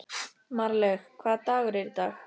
Marlaug, hvaða dagur er í dag?